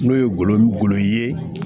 N'o ye golo golo ye